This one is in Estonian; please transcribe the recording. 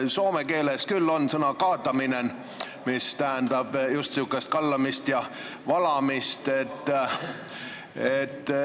Soome keeles küll on sõna kaataminen, mis tähendab just sihukest kallamist ja valamist.